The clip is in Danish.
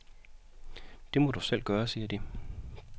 Det må du selv gøre, siger de.